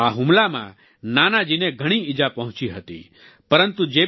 આ હુમલામાં નાનાજી ને ઘણી ઈજા પહોંચી હતી પરંતુ જે